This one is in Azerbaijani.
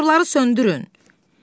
Motorları söndürün!